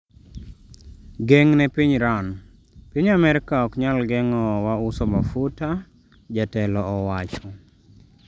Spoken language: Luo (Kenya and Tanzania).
Geng' ne piny iran: Piny Amerka ok nyal geng'o wa uso mafuta, jatelo owacho